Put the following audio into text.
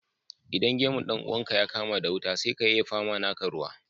Idan gemun dan uwanka ya kama wuta, sai ka yayyafa ma naka ruwa